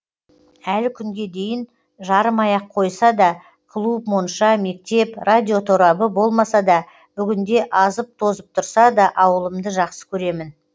әлі күнге дейін жарымай ақ қойса да клуб монша мектеп радиоторабы болмаса да бүгінде азып тозып тұрса да ауылымды жақсы көремін